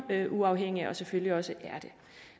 uafhængig og selvfølgelig også er det